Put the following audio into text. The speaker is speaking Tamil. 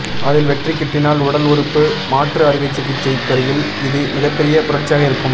அதில் வெற்றி கிட்டினால் உடல் உறுப்பு மாற்று அறுவை சிகிச்சைத்துறையில் இது மிகப்பெரிய புரட்சியாக இருக்கும்